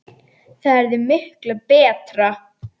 Það yrði miklu BETRA!